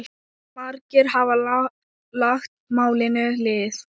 Margir hafa lagt málinu lið.